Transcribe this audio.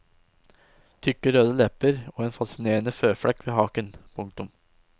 Tykke røde lepper og en fascinerende føflekk ved haken. punktum